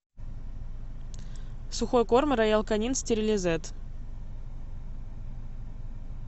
сухой корм роял канин стерилизед